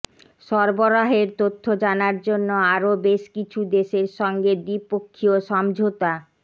সরবরাহের তথ্য জানার জন্য আরও বেশ কিছু দেশের সঙ্গে দ্বিপক্ষীয় সমঝোতা